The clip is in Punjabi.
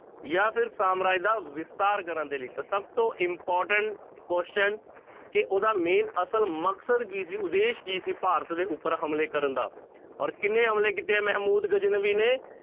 ਜਾਂ ਫਿਰ ਸਾਮਰਾਜ ਦਾ ਵਿਸਥਾਰ ਕਰਨ ਦੇ ਲਈ ਤਾਂ ਸਭ ਤੋਂ important question ਕਿ ਉਹਦਾ main ਅਸਲ ਮਕਸਦ ਕੀ ਸੀ ਉਦੇਸ਼ ਕੀ ਸੀ ਭਾਰਤ ਦੇ ਉੱਪਰ ਹਮਲੇ ਕਰਨ ਦਾ ਔਰ ਕਿੰਨੇ ਹਮਲੇ ਕੀਤੇ ਹੈ ਮਹਿਮੂਦ ਗਜਨਵੀ ਨੇ?